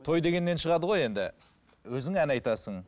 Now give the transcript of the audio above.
той дегеннен шығады ғой енді өзің ән айтасың